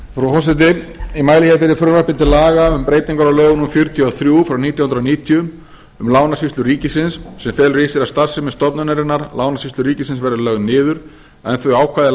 forseti ég mæli hér fyrir frumvarpi til laga um breytingar á lögum númer fjörutíu og þrjú nítján hundruð níutíu um lánasýslu ríkisins sem felur í sér að starfsemi stofnunarinnar lánasýslu ríkisins verði lögð niður en þau ákvæði